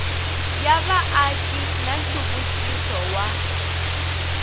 ya vaaki na nhluvukiso wa